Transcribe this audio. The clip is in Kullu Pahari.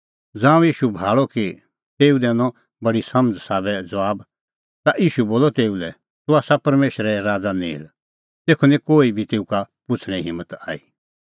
ज़ांऊं ईशू भाल़अ कि तेऊ दैनअ बडी समझ़ा संघै ज़बाब ता ईशू बोलअ तेऊ लै तूह आसा परमेशरे राज़ा नेल़ तेखअ निं कोही बी तेऊ का पुछ़णें हिम्मत हुई